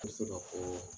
N bɛ se ka fɔɔ